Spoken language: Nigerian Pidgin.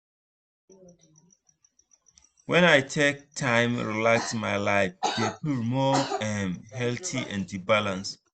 when i take time relax my life dey feel more um healthy and balanced.